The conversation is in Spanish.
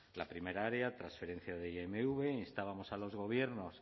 la primera área transferencia de imv instábamos a los gobiernos